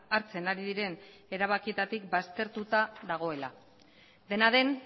hartzen ari diren erabakietatik baztertuta dagoela dena den